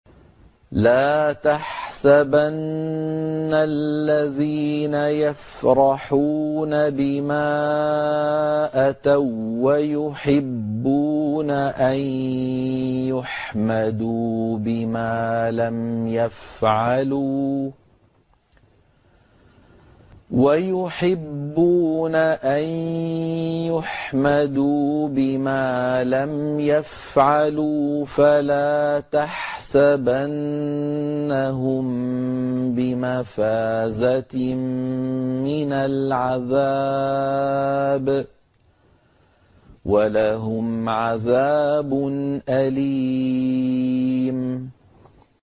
لَا تَحْسَبَنَّ الَّذِينَ يَفْرَحُونَ بِمَا أَتَوا وَّيُحِبُّونَ أَن يُحْمَدُوا بِمَا لَمْ يَفْعَلُوا فَلَا تَحْسَبَنَّهُم بِمَفَازَةٍ مِّنَ الْعَذَابِ ۖ وَلَهُمْ عَذَابٌ أَلِيمٌ